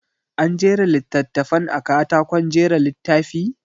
An jera littattafan a katakon jera littafi?